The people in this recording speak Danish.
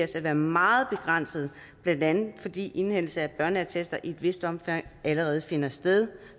til at være meget begrænsede blandt andet fordi indhentelse af børneattester i et vist omfang allerede finder sted